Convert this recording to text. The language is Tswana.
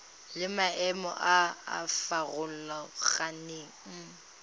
le maemo a a farologaneng